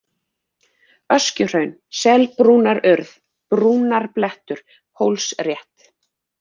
Öskjuhraun, Selbrúnarurð, Brúnarblettur, Hólsrétt